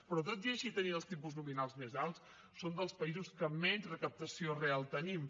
però tot i així tenint els tipus nominals més alts som dels països que menys recaptació real tenim